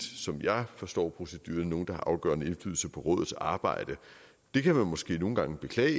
som jeg forstår proceduren sjældent nogle der har afgørende indflydelse på rådets arbejde det kan man måske nogle gange beklage